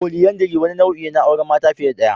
Polyandry wani nau'i ne na auren mata fiye da daya.